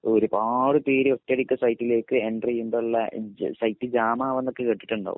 ഒരുപാട് പേര് ഒറ്റയടിക്ക് സൈറ്റിലെക് എൻ്റെർ ചെയ്യുമ്പോ ഉള്ള സൈറ്റ് ജാം ആവുക എന്നൊക്കെ കേട്ടിട്ടുണ്ടോ